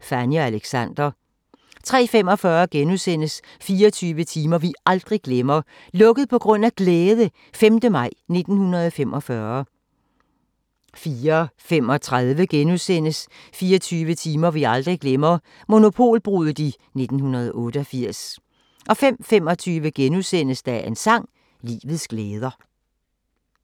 Fanny og Alexander * 03:45: 24 timer vi aldrig glemmer - "Lukket på grund af glæde" - 5. maj 1945 * 04:35: 24 timer vi aldrig glemmer – Monopolbruddet i 1988 * 05:25: Dagens sang: Livets glæder *